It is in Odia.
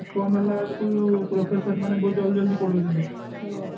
ବନ୍ଦ ହେଲା ବେଳକୁ professor ମାନେ ବହୁତ ଜଲ୍ଦି ଜଲ୍ଦି ପଢ଼ଉଛନ୍ତି